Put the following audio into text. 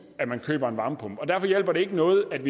at man køber en varmepumpe derfor hjælper det ikke noget at